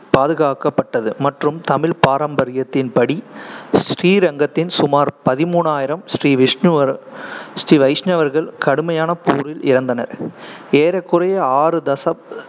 பாதுகாக்கப்பட்டது மற்றும் தமிழ் பாரம்பரியத்தின் படி ஸ்ரீரங்கத்தின் சுமார் பதிமூணாயிரம் ஸ்ரீ விஷ்ணுவர்~ ஸ்ரீ வைஷ்ணவர்கள் கடுமையான போரில் இறந்தனர் ஏறக்குறைய ஆறு தசப்~